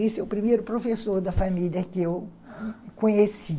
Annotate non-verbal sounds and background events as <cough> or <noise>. Esse é o primeiro professor da família que eu <laughs> conheci.